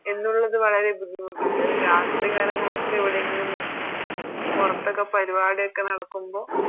എന്നുള്ളത് വളരെ ബുദ്ധിമുട്ടാണ് അതായത് രാത്രികാലങ്ങളൊക്കെ ഇവിടെങ്ങും പൊറത്തൊക്കെ പരിപാടി ഒക്കെ നടക്കുമ്പോ